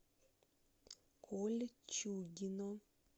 кольчугино